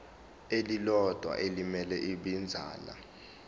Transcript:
elilodwa elimele ibinzana